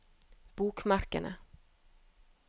bokmerkene